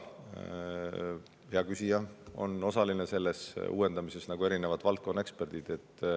Hea küsija on osaline selles uuendamises, nagu on ka valdkonnaeksperdid.